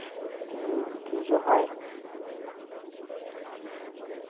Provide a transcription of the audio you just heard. উম পুজো হয়।